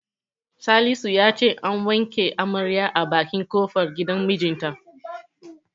Salisu ya ce an wanke amaryar a bakin kofar gidan mijinta.